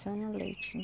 Só no leite.